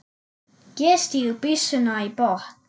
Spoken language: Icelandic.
Ég stíg byssuna í botn.